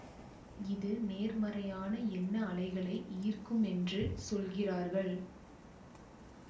இது நேர்மறையான எண்ண அலைகளை ஈர்க்கும் என்று சொல்கிறார்கள்